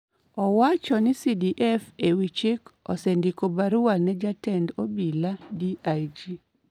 Owacho ni CDF e wi chik osendiko barua ne Jatend Obila (DIG),